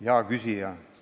Hea küsija!